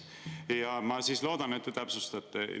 Ja ma loodan, et te täpsustate.